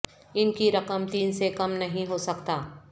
ان کی رقم تین سے کم نہیں ہو سکتا